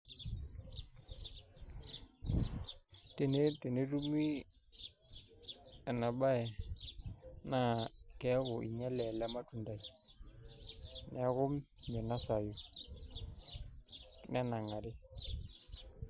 Tenetumi ena baye naa keeku inyiale ele matundai neeku minasayu, nenang'ari.